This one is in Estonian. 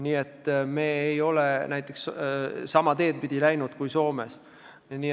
Nii et me ei ole läinud sama teed pidi kui Soome.